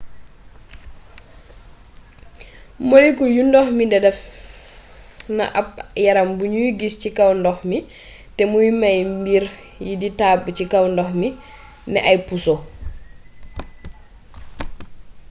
molekul yu ndox mi def na ab yaram bu nuy gis ci kaw ndox mi te muy mey mbir yi di tabb ci kaw ndox mi ne ay puso